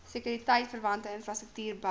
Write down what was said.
sekuriteitverwante infrastruktuur bou